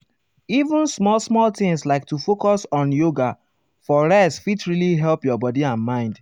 even small-small things like to focus on yoga for rest fit really help your body and mind.